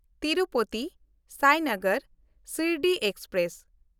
ᱛᱤᱨᱩᱯᱚᱛᱤ–ᱥᱟᱭᱱᱟᱜᱟᱨ Shirdi express